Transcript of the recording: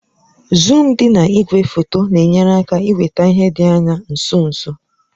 Zuum dị na igwefoto na-enyere aka iweta ihe dị anya nso nso